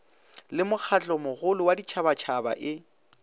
le mokgatlomogolo wa ditšhabatšhaba e